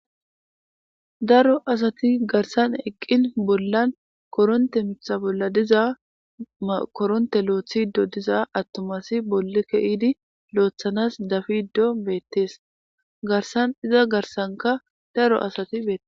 Daro asati garsan eqin bollan koronte mitha bolla diza koronte loyitidi diza atuma asi boli kiyidi loyitanas dafidi diyoge betes garsan iza garsnka daro asati betosona